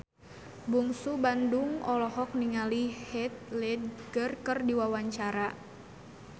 Bungsu Bandung olohok ningali Heath Ledger keur diwawancara